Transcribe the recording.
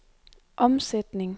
omsætning